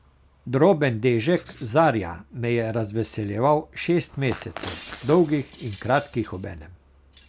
Droben dežek Zarja me je razveseljeval šest mesecev, dolgih in kratkih obenem.